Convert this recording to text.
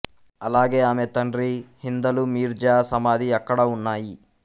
అలాగే ఆమె తండ్రి హిందలు మీర్జా సమాధి అక్కడ ఉన్నాయి